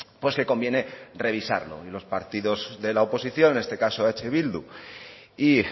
pues que conviene revisarlos y los partidos de la oposición en este caso eh bildu y